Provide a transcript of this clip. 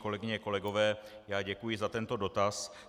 Kolegyně, kolegové, já děkuji za tento dotaz.